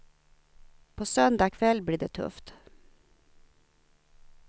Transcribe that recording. På söndag kväll blir det tufft.